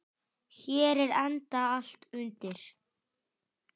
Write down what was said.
Hér er enda allt undir.